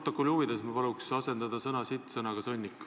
Protokolli huvides paluksin ma asendada sõna "sitt" sõnaga "sõnnik".